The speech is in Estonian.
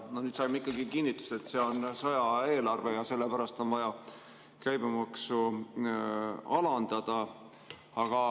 Nüüd saime ikkagi kinnitust, et see on sõjaaja eelarve ja sellepärast on vaja käibemaksu alandada.